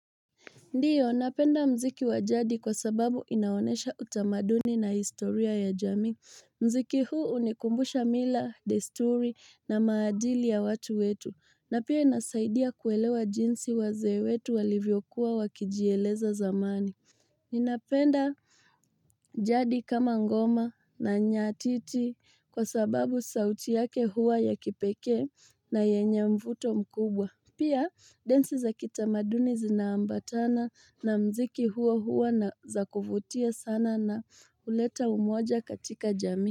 Ndiyo, napenda mziki wa jadi kwa sababu inaonesha utamaduni na historia ya jamii. Mziki huu unikumbusha mila, desturi na maadili ya watu wetu. Na pia inasaidia kuelewa jinsi wazee wetu walivyokuwa wakijieleza zamani. Ninapenda jadi kama ngoma na nyatiti kwa sababu sauti yake huwa ya kipeke na yenye mvuto mkubwa. Pia dance za kitamaduni zinaambatana na mziki hua hua na za kufutia sana na uleta umoja katika jamii.